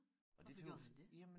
Hvorfor gjorde han det?